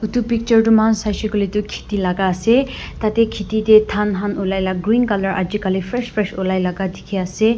Etu picture tuh mokhan saishe koile tuh kheti laga ase tatey kheti dae dhan khan ulaila green colour aji kali fresh fresh ulai laga dekhe ase.